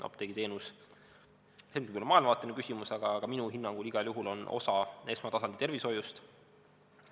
Apteegiteenus – see nüüd on küll maailmavaateline küsimus – minu hinnangul igal juhul on osa esmatasandi tervishoiust.